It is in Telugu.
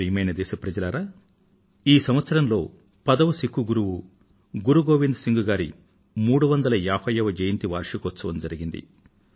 ప్రియమైన నా దేశవాసులారా ఈ సంవత్సరంలో పదో సిక్కు గురువు గురు గోవింద్ సింగ్ గారి 350వ జయంతి వార్షికోత్సవం జరిగింది